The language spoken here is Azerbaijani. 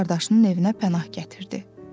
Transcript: öz qardaşının evinə pənah gətirdi.